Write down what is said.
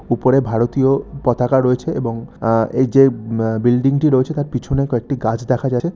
উপরে ভারতীয় পতাকা রয়েছে এবং আ এই যে আ বিল্ডিং -টি রয়েছে তার পিছনে কয়েকটি গাছ দেখা যাচ্ছে।